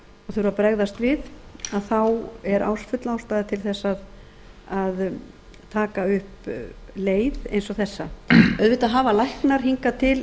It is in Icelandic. þurfa að bregðast við að þá er full ástæða til þess að taka upp leið eins og þessa auðvitað hafa læknar hingað til